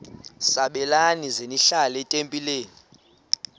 sabelani zenihlal etempileni